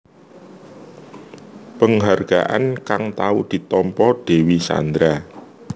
Penghargaan kang tau ditampa Dewi Sandra